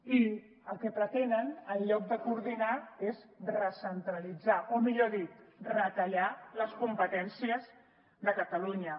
i el que pretenen en lloc de coordinar és recentralitzar o millor dit retallar les competències de catalunya